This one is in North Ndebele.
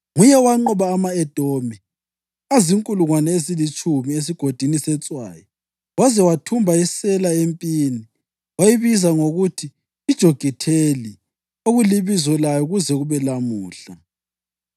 Nguye owanqoba ama-Edomi azinkulungwane ezilitshumi, eSigodini seTswayi waze wathumba iSela empini, wayibiza ngokuthi yiJokitheli, okulibizo layo kuze kube lalamuhla.